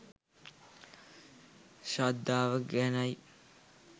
ශ්‍රද්ධාව ගැනයි.